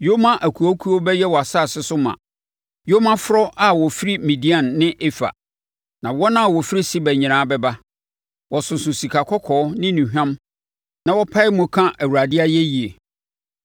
Yoma akuakuo bɛyɛ wʼasase so ma, yomaforɔ a wofiri Midian ne Efa. Na wɔn a wɔfiri Seba nyinaa bɛba, wɔsoso sika kɔkɔɔ ne nnuhwam na wɔpae mu ka Awurade ayɛyie.